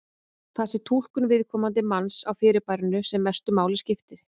Það sé túlkun viðkomandi manns á fyrirbærinu sem mestu máli skipti.